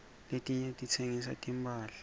letinye titsengisa timphahla